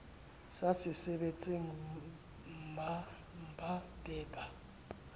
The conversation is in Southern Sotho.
sa sebetseng mmba be ba